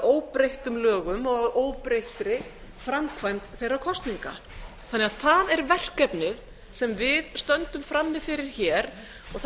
óbreyttum lögum og að óbreyttri framkvæmd þeirra kosninga þannig að það er verkefnið sem við stöndum frammi fyrir hér það